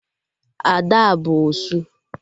Ada abụ osu?